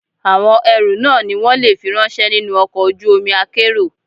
Àwọn ẹrú náà ni wón le fi ráńṣẹ́ nínú ọkọ̀ ojú omi akérò.